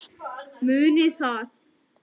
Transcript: Munið það.